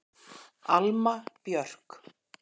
Alma Björk.